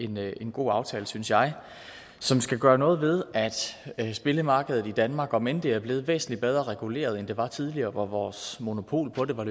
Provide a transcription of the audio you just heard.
med en god aftale synes jeg som skal gøre noget ved at spillemarkedet i danmark om end det er blevet væsentlig bedre reguleret end det var tidligere hvor vores monopol på det var